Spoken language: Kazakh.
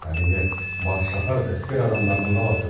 әрине бас шаһар іскер адамдардың қаласы